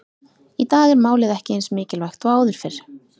Í dag er málið ekki eins mikilvægt og áður fyrr.